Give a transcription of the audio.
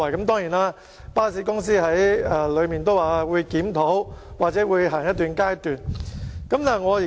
當然，巴士公司已表示會進行檢討，或試行一段時間。